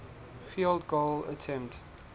field goal attempt